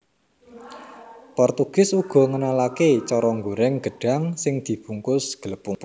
Portugis uga ngenalaké cara nggorèng gedhang sing dibungkus glepung